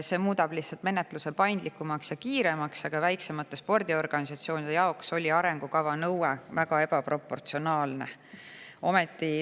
See muudab lihtsalt menetluse paindlikumaks ja kiiremaks, väiksemate spordiorganisatsioonide jaoks oli arengukava nõue ka väga ebaproportsionaalne.